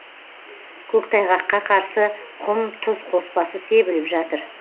көктайғаққа қарсы құм тұз қоспасы себіліп жатыр